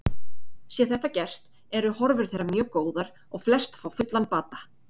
Sé þetta gert eru horfur þeirra mjög góðar og flest fá fullan bata.